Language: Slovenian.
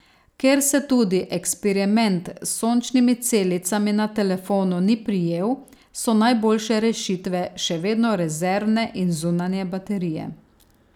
Ker se tudi eksperiment s sončnimi celicami na telefonu ni prijel, so najboljše rešitve še vedno rezervne in zunanje baterije.